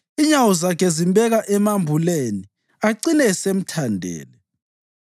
Inyawo zakhe zimbeka emambuleni acine esemthandele.